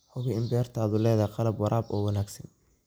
Hubi in beertaadu leedahay qalab waraab oo wanaagsan.